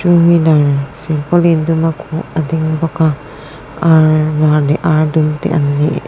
two wheeler silpaulin duma khuh a ding bawka ar var leh ar dum te an ni--